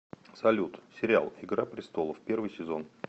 салют сериал игра престолов первый сезон